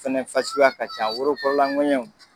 Fɛnɛ fasuguya ka ca worokɔrɔla ŋɛɲɛw